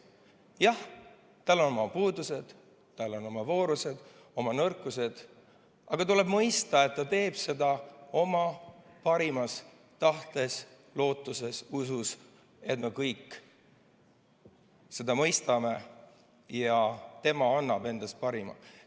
Jah, tal on oma puudused, tal on oma voorused, oma nõrkused, aga tuleb mõista, et ta teeb seda oma parimas tahtes, lootuses ja usus, et me kõik seda mõistame, ja tema annab endast parima.